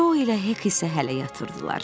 Co ilə Hek isə hələ yatırdılar.